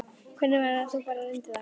Hvernig væri að þú bara reyndir það?